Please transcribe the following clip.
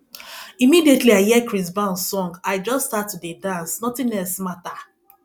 immediately i hear chris brown song i just start to dey dance nothing else matter